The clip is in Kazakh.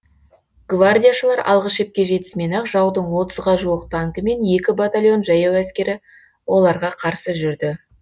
гвардияшылар алғы шепке жетісімен ақ жаудың отызға жуық танкі мен екі батальон жаяу әскері оларға қарсы жүрді